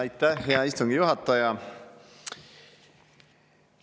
Aitäh, hea istungi juhataja!